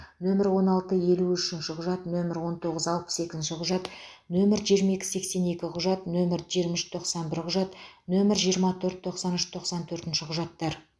нөмірі он алты елу үшінші құжат нөмірі он тоғыз алпыс екінші құжат нөмір жиырма екі сексен екі құжат нөмір жиырма үш тоқсан бір құжат нөмір жиырма төрт тоқсан үш тоқсан төртінші құжаттар